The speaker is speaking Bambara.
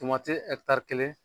Tomati kelen